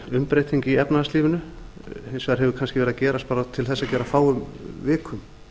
þessi umbreyting í efnahagslífinu hefur kannski verið að gerast á bara til þess að gera fáum vikum